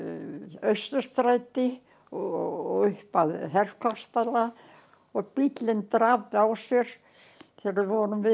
Austurstræti og upp að og bíllinn drap á sér þegar við vorum við